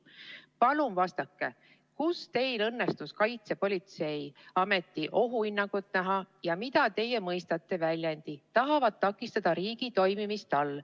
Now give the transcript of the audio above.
Palun vastake, kuidas teil õnnestus Kaitsepolitseiameti ohuhinnangut näha ja mida teie mõistate väljendi "tahavad takistada riigi toimimist" all.